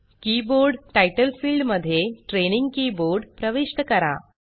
keyboard title field मध्ये training keyboard प्रविष्ट करा